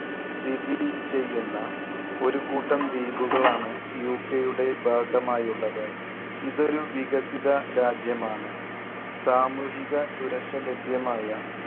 സ്ഥിതിചെയ്യുന്ന ഒരു കൂട്ടം ദ്വീപുകളാണ് UK യുടെ ഭാഗമായുള്ളത്. ഇതൊരു വികസിത രാജ്യമാണ്. സാമൂഹിക സുരക്ഷ ലഭ്യമായ